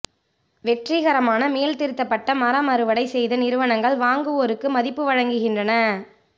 வெற்றிகரமான மீள்திருத்தப்பட்ட மரம் அறுவடை செய்த நிறுவனங்கள் வாங்குவோருக்கு மதிப்பு வழங்குகின்றன